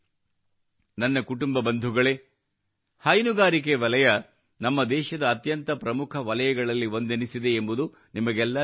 ನನ್ನ ಕುಟುಂಬ ಬಂಧುಗಳೇ ಹೈನುಗಾರಿಕೆ ವಲಯ ನಮ್ಮ ದೇಶದ ಅತ್ಯಂತ ಪ್ರಮುಖ ವಲಯಗಳಲ್ಲಿ ಒಂದೆನಿಸಿದೆ ಎಂಬುದು ನಿಮಗೆಲ್ಲಾ ತಿಳಿದೇ ಇದೆ